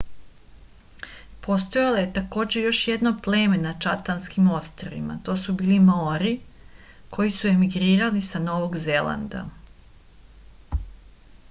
postojalo je takođe još jedno pleme na čatamskim ostrvima to su bili maori koji su emigrirali sa novog zelanda